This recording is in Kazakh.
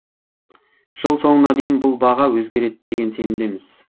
жыл соңына дейін бұл баға өзгереді деген сенімдеміз